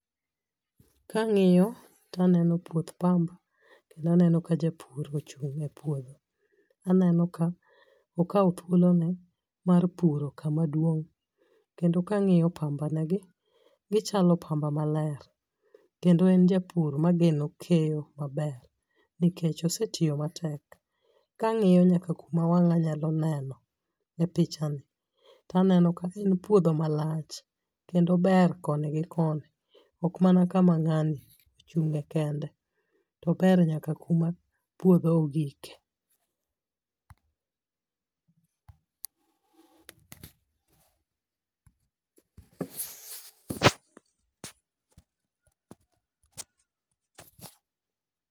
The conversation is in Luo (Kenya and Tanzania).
Kang'iyo to aneno puoth pamba kendo aneno ka japur ochung e puodho. Aneno ka okaw thuolo ne mar puro kama duong. Kendo kang'iyo pamba ne gi gichalo pamba maler. Kendo en japur mageno keyo maler. Nikech osetiyo matek. Kang'iyo nyaka kuma wanga nyalo neno e pichani, en puodho malach kendo ober koni gi koni. Ok mana kama ngani ochunge kende to ober nyaka kuma puodho ogike